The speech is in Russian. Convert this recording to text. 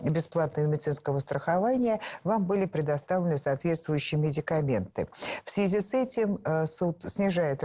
бесплатного медицинского страхования вам были предоставлены соответствующие медикаменты в связи с этим суд снижает